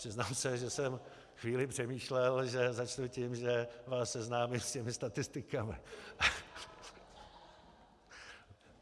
Přiznám se, že jsem chvíli přemýšlel, že začnu tím, že vás seznámím s těmi statistikami.